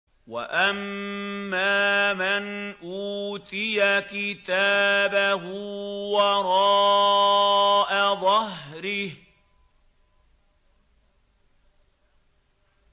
وَأَمَّا مَنْ أُوتِيَ كِتَابَهُ وَرَاءَ ظَهْرِهِ